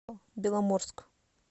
беломорск